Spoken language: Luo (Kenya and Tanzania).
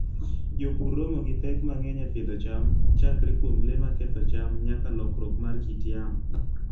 Jopur romo gi pek mang'eny e pidho cham, chakre kuom le maketho cham nyaka lokruok mar kit yamo.